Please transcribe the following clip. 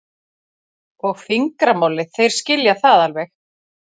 og fingramálið, þeir skilja það alveg.